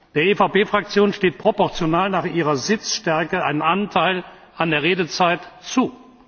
Der EVP Fraktion steht proportional zu ihrer Sitzstärke ein Anteil an der Redezeit zu.